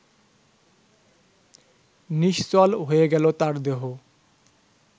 নিশ্চল হয়ে গেল তার দেহ